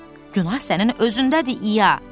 Günah sənin özündədir, İya.